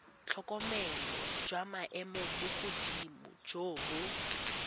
tlhokomelo jwa maemogodimo jo bo